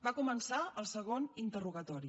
va començar el segon interrogatori